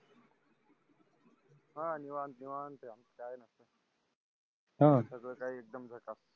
ह देवान घेवाण ह सगळ काही एकदम झक्कास